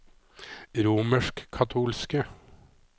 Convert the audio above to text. romerskkatolske